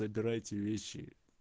забирайте вещи